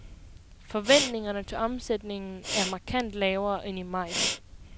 Forventningerne til omsætningen er markant lavere end i maj.